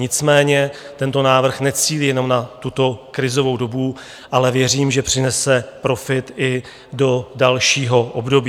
Nicméně tento návrh necílí jenom na tuto krizovou dobu, ale věřím, že přinese profit i do dalšího období.